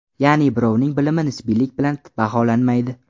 Ya’ni birovning bilimi nisbiylik bilan baholanmaydi.